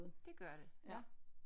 Det gør det ja